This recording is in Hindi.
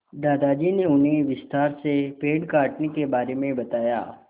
दादाजी ने उन्हें विस्तार से पेड़ काटने के बारे में बताया